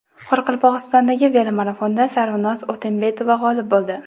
Qoraqalpog‘istondagi velomarafonda Sarvinoz O‘tembetova g‘olib bo‘ldi.